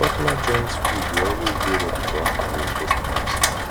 popular joints food de always dey ready for afternoon most times